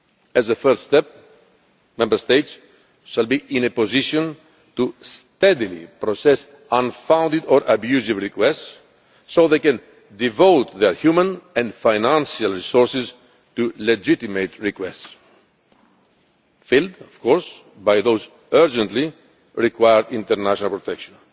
As a first step, Member States shall be in a position to steadily process unfounded or unlawful requests so they can devote their human and financial resources to legitimate requests, filed by those who urgently require international protection.